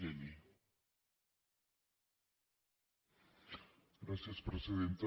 gràcies presidenta